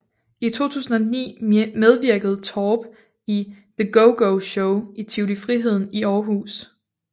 I 2009 medvirkede Torp i The GoGo Show i Tivoli Friheden i Aarhus